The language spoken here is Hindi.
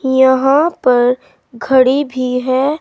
यहां पर घड़ी भी है।